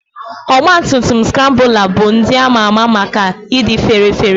Ọgba tum tum Skrambụla bụ ndị ama ama maka ịdị fére féré.